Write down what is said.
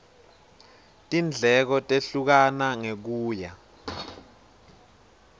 tindleko tehlukana ngekuya